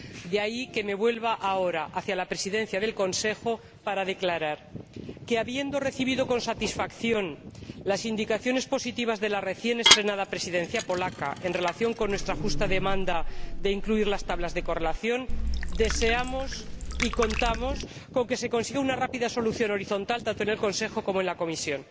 De ahí que me vuelva ahora hacia la Presidencia en ejercicio del Consejo para declarar que, habiendo recibido con satisfacción las indicaciones positivas de la recién estrenada Presidencia polaca en relación con nuestra justa demanda de incluir las tablas de correlación, deseamos y contamos con que se consiga una rápida solución horizontal, tanto en el Consejo como en la Comisión.